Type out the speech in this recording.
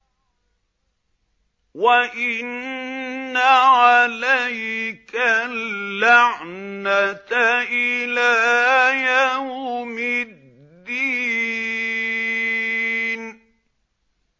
وَإِنَّ عَلَيْكَ اللَّعْنَةَ إِلَىٰ يَوْمِ الدِّينِ